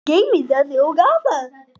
Guð geymi þig og afa.